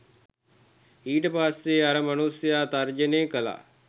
ඊට පස්සේ අර මනුස්සයා තර්ජනය කළා